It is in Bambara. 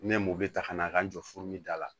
Ne m'o bɛ ta ka na a ka n jɔ fo da la